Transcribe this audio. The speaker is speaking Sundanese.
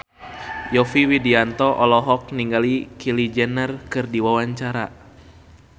Yovie Widianto olohok ningali Kylie Jenner keur diwawancara